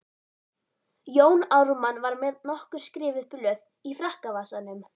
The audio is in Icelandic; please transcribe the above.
Jón Ármann var með nokkur skrifuð blöð í frakkavasanum.